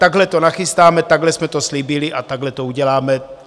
Takhle to nachystáme, takhle jsme to slíbili a takhle to uděláme.